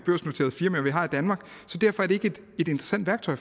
vi har i danmark så derfor er det ikke et interessant værktøj